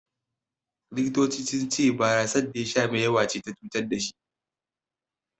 The Doctors said he got intoxicated by the too much amount of beer he consumed.